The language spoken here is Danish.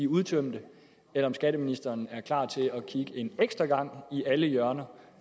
udtømt eller om skatteministeren er klar til at kigge en ekstra gang i alle hjørner